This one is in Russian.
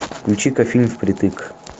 включи ка фильм впритык